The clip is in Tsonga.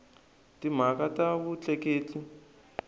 timhaka ta vutleketli